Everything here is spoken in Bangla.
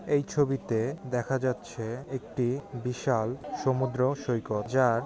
এই ছবিতে দেখা যাচ্ছে একটি বিশাল সমুদ্র সৈকত যার--